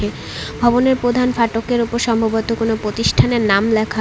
ভবনের প্রধান ফাটকের ওপর সম্ভবত কোনও প্রতিষ্ঠানের নাম লেখা।